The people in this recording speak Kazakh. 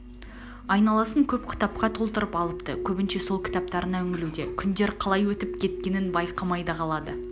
айналасын көп кітапқа толтырып алыпты көбінше сол кітаптарына үңілуде күндер қалай өтіп кеткенін байқамай да қалады